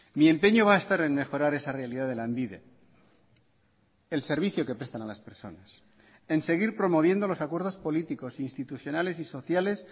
mi empeño va a estar en mejorar esa realidad de lanbide el servicio que prestan a las personas en seguir promoviendo los acuerdos políticos institucionales y sociales